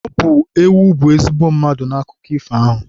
Ọ bụ ewu bụ ezigbo mmadụ n'akụkọ ifo ahụ.